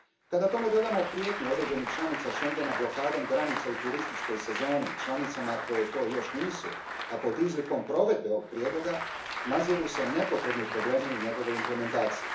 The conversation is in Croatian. Kada tome dodamo prijetnje određenih članica Schengena blokadom granica u turističkoj sezoni članicama koje to još nisu, a pod izlikom provedbe ovog prijedloga, naziru se nepotrebni problemi u njegovoj implementaciji.